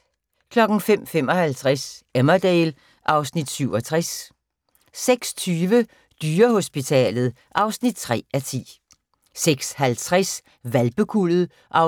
05:55: Emmerdale (Afs. 67) 06:20: Dyrehospitalet (3:10) 06:50: Hvalpekuldet (4:8)